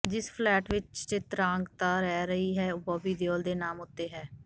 ਜਿਸ ਫਲੈਟ ਵਿੱਚ ਚਿਤ੍ਰਾਂਗਦਾ ਰਹਿ ਰਹੀ ਹੈ ਉਹ ਬੌਬੀ ਦਿਓਲ ਦੇ ਨਾਮ ਉੱਤੇ ਹੈ